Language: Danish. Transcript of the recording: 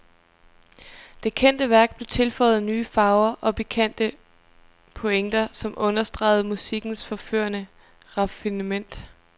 Det kendte værk blev tilføjet nye farver og pikante pointer, som understregede musikkens forførende raffinement.